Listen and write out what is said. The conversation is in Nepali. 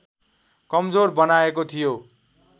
कमजोर बनाएको थियो